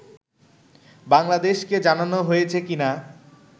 বাংলাদেশকে জানানো হয়েছে কি না